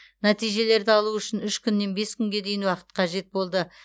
нәтижелерді алу үшін үш күннен бес күнге дейін уақыт қажет болды